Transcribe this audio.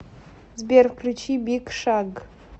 сбер включи биг шаг